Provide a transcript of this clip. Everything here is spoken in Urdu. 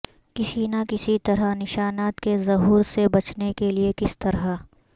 کسی نہ کسی طرح نشانات کے ظہور سے بچنے کے لئے کس طرح